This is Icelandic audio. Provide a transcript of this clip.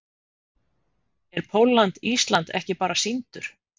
Er Pólland-Ísland bara ekki sýndur?